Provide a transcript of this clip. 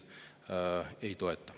Aitäh!